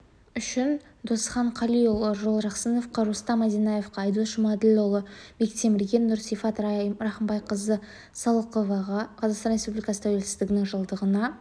үшіндосхан қалиұлы жолжақсыновқа рустам одинаевқа айдос жұмаділдіұлы бектемірге нұрсифат рахымбайқызы салықоваға қазақстан республикасы тәуелсіздігінің жылдығына